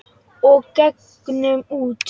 Og gengum út.